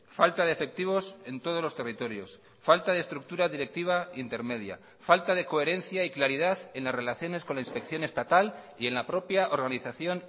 falta de efectivos en todos los territorios falta de estructura directiva intermedia falta de coherencia y claridad en las relaciones con la inspección estatal y en la propia organización